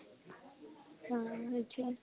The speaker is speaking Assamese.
উম । সেইতোৱে ।